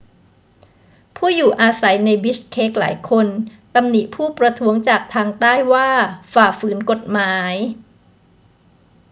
ผู้อยู่อาสัยในบิชเคกหลายคนตำหนิผู้ประท้วงจากทางใต้ว่าฝ่าฝืนกฎหมาย